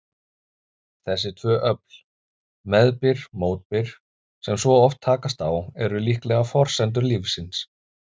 Þessi tvö öfl, meðbyr-mótbyr, sem svo oft takast á, eru líklega forsendur lífsins.